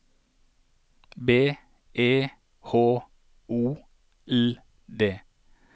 B E H O L D